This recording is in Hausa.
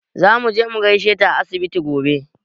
Za muje mu gaishe ta a asibiti gobe.